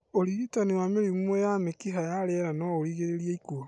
ũrigitani wa mĩrimũ ya mĩkiha ya rĩera noũrigĩrĩrie ikuũ